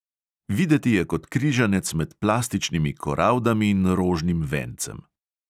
Videti je kot križanec med plastičnimi koraldami in rožnim vencem.